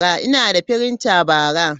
Ina da printer bara.